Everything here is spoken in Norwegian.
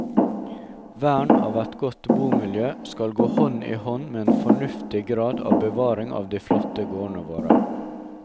Vern av et godt bomiljø skal gå hånd i hånd med en fornuftig grad av bevaring av de flotte gårdene våre.